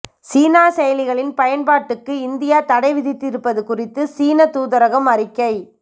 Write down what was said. சீன செயலிகளின் பயன்பாட்டுக்கு இந்தியா தடை விதித்திருப்பது குறித்து சீனத் தூதரகம் அறிக்கை